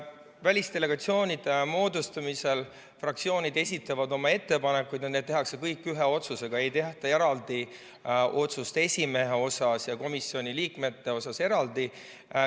Välisdelegatsioonide moodustamisel fraktsioonid esitavad oma ettepanekud ja need tehakse kõik ühe otsusega, st ei tehta eraldi otsust esimehe ja komisjoni liikmete kohta.